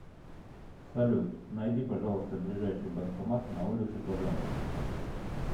салют найди пожалуйста ближайший банкомат на улице казанской